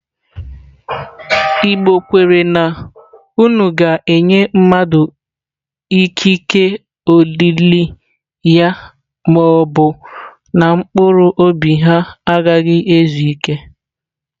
Igbo kwere na unu ga-enye mmadụ ikike olili ya ma ọ bụ na mkpụrụ obi ha agaghị ezu ike.